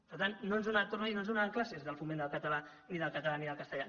per tant ho torno a dir no ens donaran classes del foment del català ni del català ni del castellà